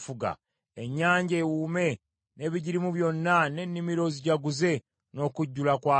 Ennyanja ewuume, n’ebigirimu byonna, n’ennimiro zijaguze, n’okujjula kwazo!